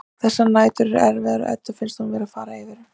Þessar nætur eru svo erfiðar að Eddu finnst hún vera að fara yfir um.